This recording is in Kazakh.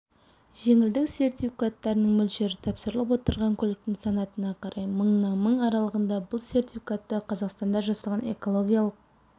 жеңілдік сертификаттарының мөлшері тапсырылып отырған көліктің санатына қарай мыңнан мың аралығында бұл сертификатты қазақстанда жасалған экологиялық